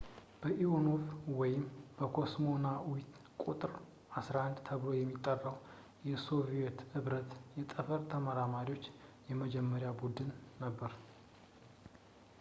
ሊኦኖቭ ወይም «ኮስሞናኡት ቁ.11» ተብሎ የሚጠራው የሶቪዬት ኅብረት የጠፈር ተመራማሪዎች የመጀመሪያ ቡድን ነበር